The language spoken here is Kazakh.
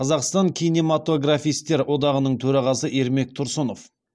қазақстан кинематографистер одағының төрағасы ермек тұрсынов